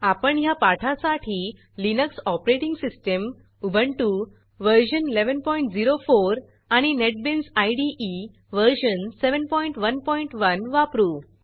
आपण ह्या पाठासाठी लिनक्स ऑपरेटिंग सिस्टीम उबुंटू व्ह1104 आणि नेटबीन्स इदे व्ह711 वापरू